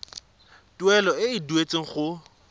tuelo e e duetsweng go